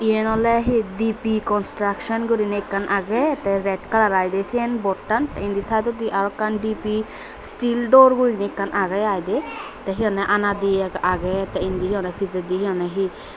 iyen oley he dipi construction guriney ekkan agey tey red colour aai dey syen boardan tey indi saaidodi arokkan dipi steel door guriney ekkan agey aai dey tey he honney ana diye agey tey indi he honney pijedi he honney he.